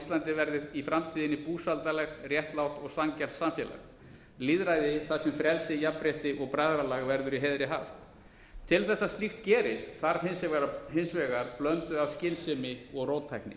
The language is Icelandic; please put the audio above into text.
íslandi verði í framtíðinni búsældarlegt réttlátt og sanngjarnt samfélag lýðræði þar sem frelsi jafnrétti og bræðralag verður í heiðri haft til þess að slíkt gerist þarf hins vegar blöndu af skynsemi og róttækni